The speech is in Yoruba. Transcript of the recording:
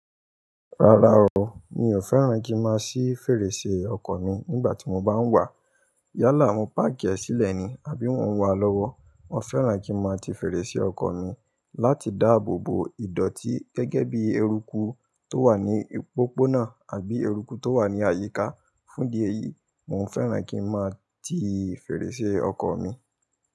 Rárá o, mi ò fẹ́ràn kí n máa ṣí fèrèsé ọkọ̀ mi nígbà tí mo bá ń wà. Yálà, mo park ẹ̀ sílẹ̀ ni àbí mo ń wà lọ́wọ́. Mo fẹ́ràn kí n máa ti fèrèsé ọkọ̀ mi láti dáàbò bo ìdọ̀ọ̀tí gẹ́gẹ́ bí eruku tó wà ní pópónà àbí eruku tó wà ní àyíká. Fún di ẹ yìí, mò fẹ́ràn kí n máa ti fèrèsé ọkọ̀ mi.